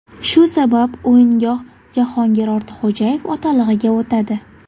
Shu sabab o‘yingoh Jahongir Ortiqxo‘jayev otalig‘iga o‘tadi.